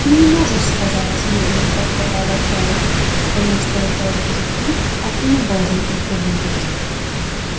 ты не можешь сказать медленно повторяла кэлвин потому что это обидит их а ты не должен их обидеть